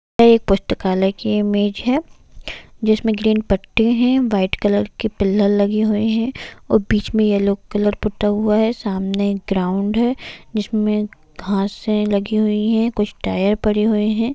यह एक पुस्तकालय की इमेज जिसमे ग्रीन पट्टे है वाइट कलर के पीलर है और बीचे में येलो पता हुआ है सामने ग्राउंड़ है जिसमे घास है लगी है कुछ टायर पड़े हुए है।